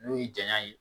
N'o y'i janya ye